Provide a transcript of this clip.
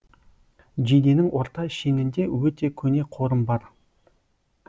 жиденің орта шенінде өте көне қорым бар